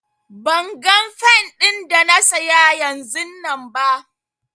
Ban gan fen din da na siya yanzunnan ba.